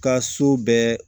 Ka so bɛɛ